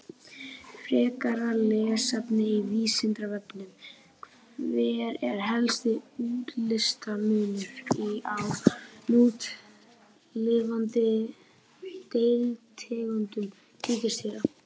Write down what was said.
Frekara lesefni á Vísindavefnum: Hver er helsti útlitsmunur á núlifandi deilitegundum tígrisdýra?